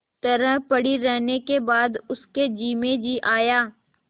तरह पड़ी रहने के बाद उसके जी में जी आया